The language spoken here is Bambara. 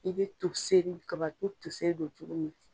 I bɛ toseri kabato toseri don cogo min.